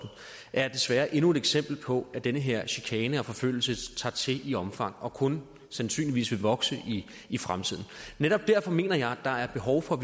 er desværre endnu et eksempel på at den her chikane og forfølgelse tager til i omfang og kun sandsynligvis vil vokse i i fremtiden netop derfor mener jeg at der er behov for